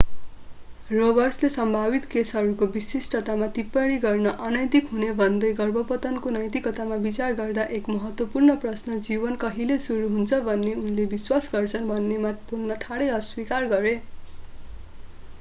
रोबर्ट्सले सम्भावित केसहरूको विशिष्टतामा टिप्पणी गर्न अनैतिक हुने भन्दै गर्भपतनको नैतिकतामा विचार गर्दा एक महत्त्वपूर्ण प्रश्न जीवन कहिले सुरु हुन्छ भन्ने उनले विश्वास गर्छन् भन्नेमा बोल्न ठाडै अस्वीकार गरे